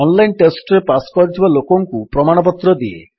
online ଟେଷ୍ଟରେ pass କରିଥିବା ଲୋକଙ୍କୁ ପ୍ରମାଣପତ୍ର ଦିଏ